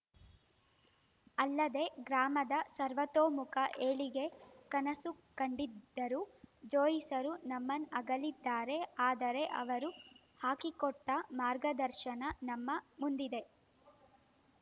ಅಲ್ಲದೇ ಗ್ರಾಮದ ಸರ್ವತೋಮುಖ ಏಳಿಗೆ ಕನಸು ಕಂಡಿದ್ದರು ಜ್ಯೋಯ್ಸರು ನಮ್ಮನ್ನಗಲಿದ್ದಾರೆ ಆದರೆ ಅವರು ಹಾಕಿಕೊಟ್ಟಮಾರ್ಗದರ್ಶನ ನಮ್ಮ ಮುಂದಿದೆ